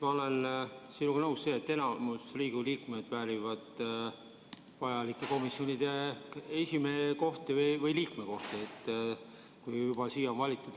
Ma olen sinuga nõus, et enamik Riigikogu liikmeid väärib vajalike komisjonide esimehe kohta või liikme kohta, kui nad on juba siia valitud.